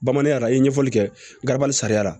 Bamananya la i ye ɲɛfɔli kɛ garabali sariya la